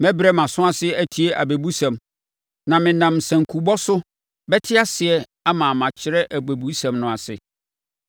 Mɛbrɛ mʼaso ase atie abɛbusɛm; na menam sankubɔ so bɛte aseɛ ama makyerɛ abɛbusɛm no ase.